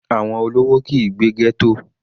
Àwọn olówó kìí gbé ghetto.